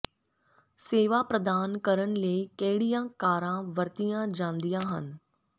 ਸੇਵਾ ਪ੍ਰਦਾਨ ਕਰਨ ਲਈ ਕਿਹੜੀਆਂ ਕਾਰਾਂ ਵਰਤੀਆਂ ਜਾਂਦੀਆਂ ਹਨ